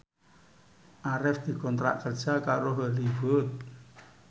Arif dikontrak kerja karo Hollywood